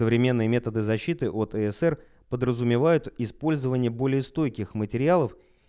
современные методы защиты от ссср подразумевают использование более стойких материалов